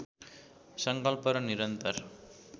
सङ्कल्प र निरन्तर